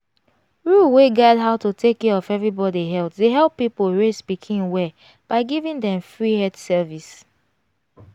rule wey guide how to take care of everybody health dey help people raise pikin well by giving dem free health service.